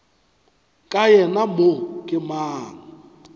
ka yena mo ke mang